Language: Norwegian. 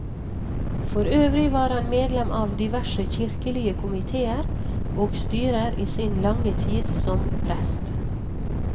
Forøvrig var han medlem av diverse kirkelige komitéer og styrer i sin lange tid som prest.